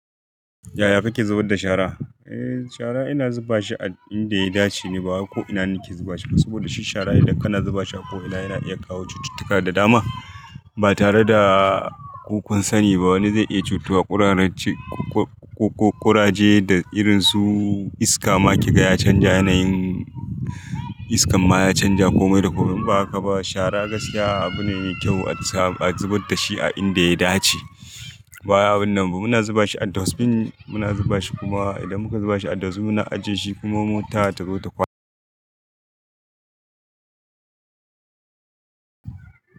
Yaya kake zubar da shara? Eh shara ina zubashi a inda ya dace ne ba ko ina nake zubashi ba. Saboda shi shara idan kana zubashi a ko ina yana iya kawo cututtuka da dama ba tare da kukan sani ba wani zai iya cutuwa. Kurajen da irin su iska ma kiga ya canja yanayin iskan ma ya canja komai da komai. Ba haka ba shara gaskiya abu ne mai kyau a zubar dashi a inda ya dace. Bayawon nan mu muna zubashi a duwatsun, muna zubashi kuma idan muka zubashi a duwatsu muna ajiyeshi kuma mota ta zo ta kwana.